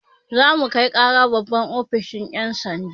Za mu kai ƙara babban ofishin yan' sanda.